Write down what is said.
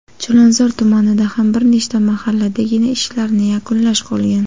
Chilonzor tumanida ham bir nechta mahalladagina ishlarni yakunlash qolgan.